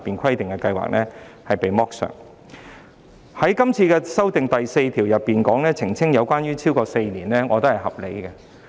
關於對《條例草案》第4條提出的修正案，澄清有關服務"超過4年"的釋義，我認為合理。